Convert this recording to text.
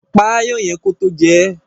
Pa aáyán yẹn tó jẹ ẹ́.